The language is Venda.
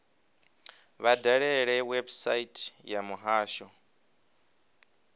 vha dalele website ya muhasho